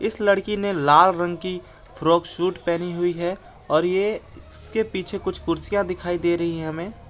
इस लड़की ने लाल रंग की फ्रॉक सूट पहनी हुई है और ये इसके पीछे कुछ कुर्सियां दिखाई दे रही हैं हमें।